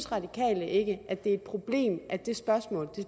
radikale ikke at det er et problem at det spørgsmål